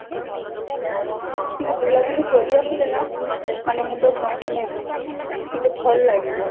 ଟିକେ ବୁଲାବୁଲି କରି ଆସିଲେ ନା ମାନେ ମୁଣ୍ଡ ମାନେ ଟିକେ ଭଲଲାଗିବ